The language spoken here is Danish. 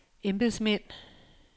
embedsmænd